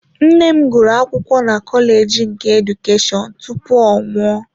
Nne m gụrụ akwụkwọ na kọleji nke Edukeshọn tupu ya anwụọ.